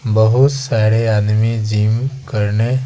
बहुत सारे आदमी जिम करने --